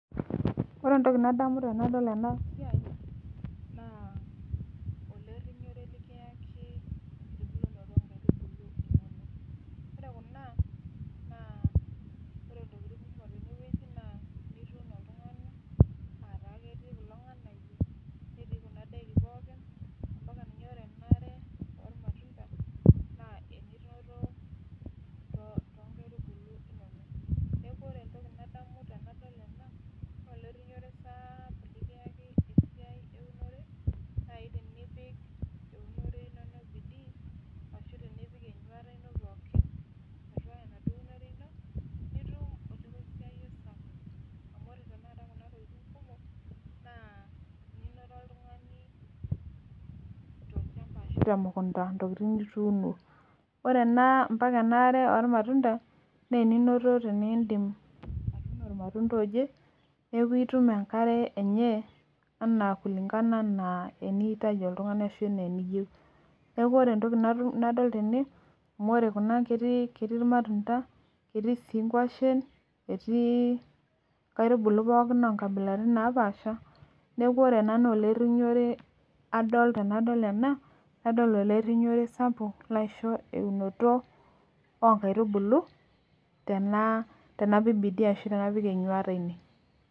Ore entoki nadamu tenadol ena siai ore kuna naaa pre intokitin kumok tene naa enkere oormatunta neeku ore entoki nadamu tenadol ena naa olerinyore sapuk amu ketii ake embaye enkiremore ashua tenipik entuata ino pookin nitum